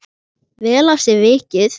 Vel af sér vikið.